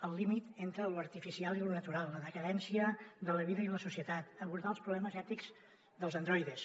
el límit entre lo artificial i lo natural la decadència de la vida i la societat abordar els problemes ètics dels androides